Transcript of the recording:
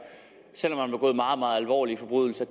selv om man har begået meget meget alvorlige forbrydelser